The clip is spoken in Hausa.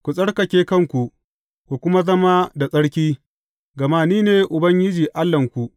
Ku tsarkake kanku, ku kuma zama da tsarki, gama Ni ne Ubangiji Allahnku.